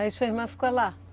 Aí sua irmã ficou lá?